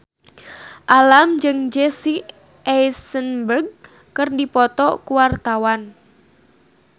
Alam jeung Jesse Eisenberg keur dipoto ku wartawan